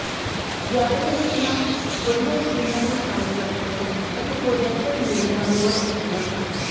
ਜ਼ਿਆਦਾਤਰ ਸੀਨਾਂ ਵੱਡੀਆਂ ਸਕ੍ਰੀਨਾਂ ਨੂੰ ਸ਼ਾਮਲ ਕਰਨਗੀਆਂ ਅਤੇ ਪ੍ਰੋਜੈਕਟਡ ਮੀਡੀਆ ਨੂੰ ਵਰਤ ਸਕਦੀਆਂ ਹਨ